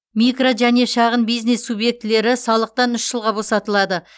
микро және шағын бизнес субъектілері салықтан үш жылға босатылады